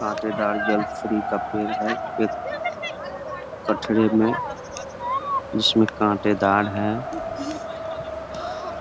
काटेदार जल फ्री का पेड़ हैं कठरे में जिसमें काटेदार हैं ।